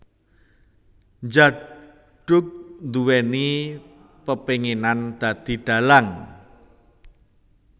Djaduk nduwèni pepénginan dadi dhalang